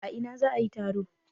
A ina za a yi taro?